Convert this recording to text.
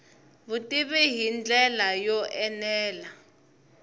vutivi hi ndlela yo enela